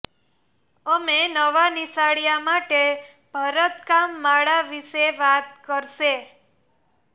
અમે નવા નિશાળીયા માટે ભરતકામ માળા વિશે વાત કરશે